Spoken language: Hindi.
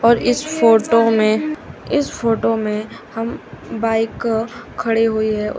और इस फोटो में इस फोटो में हम बाइक खड़े हुई है उस--